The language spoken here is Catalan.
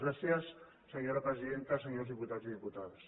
gràcies senyors presidenta senyors diputats i diputades